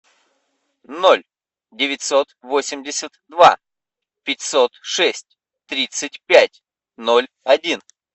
ноль девятьсот восемьдесят два пятьсот шесть тридцать пять ноль один